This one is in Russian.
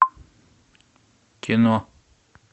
кино